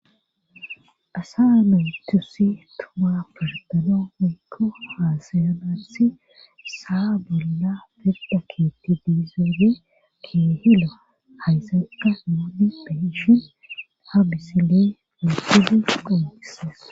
asa naytusi tuma purdanaw meykko haasayanassi saa bolla firda keetti diizoole kinhila haysanqa muudi beshin ha bisil mifili qomoqisas